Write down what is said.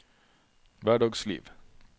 hverdagsliv